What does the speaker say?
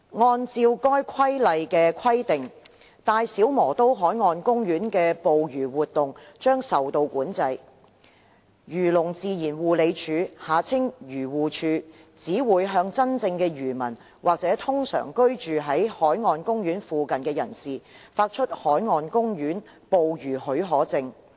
按照該《規例》的規定，大小磨刀海岸公園內的捕魚活動將會受到管制。漁農自然護理署只會向真正的漁民或通常居於該海岸公園附近的人士，發出海岸公園捕魚許可證。